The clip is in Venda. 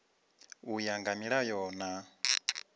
u ya nga milayo na